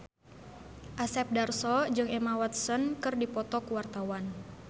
Asep Darso jeung Emma Watson keur dipoto ku wartawan